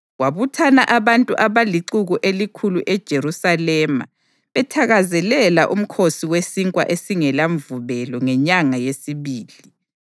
Kwabuthana abantu abalixuku elikhulu eJerusalema bethakazelela uMkhosi weSinkwa esingelaMvubelo ngenyanga yesibili.